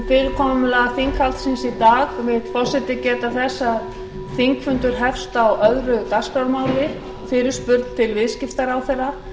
fyrirkomulag þinghaldsins í dag vill forseti geta þess að þingfundur hefst á öðrum dagskrármáli fyrirspurn til viðskiptaráðherra